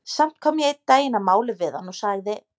Samt kom ég einn daginn að máli við hann og sagði